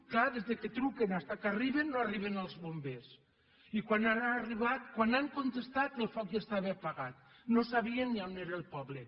clar des que truquen fins que arriben no arriben els bombers i quan han contestat el foc ja estava apagat no sabien ni a on era el poble